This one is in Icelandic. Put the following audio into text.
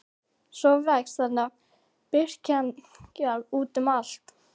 Svo vex þarna birkikjarr út um allt.